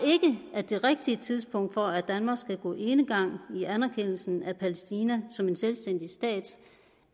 at det rigtige tidspunkt for at danmark skal gå enegang i anerkendelsen af palæstina som en selvstændig stat